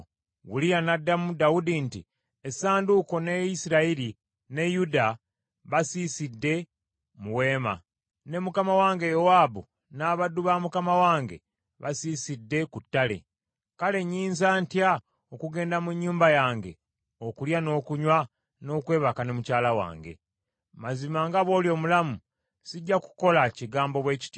Uliya n’addamu Dawudi nti, “Essanduuko ne Isirayiri ne Yuda baasigadde mu weema, ne mukama wange Yowaabu n’abaddu ba mukama wange basiisidde ku ttale. Kale nnyinza ntya okugenda mu nnyumba yange okulya n’okunywa, n’okwebaka ne mukyala wange? Mazima nga bw’oli omulamu, sijja kukola kigambo bwe kityo.”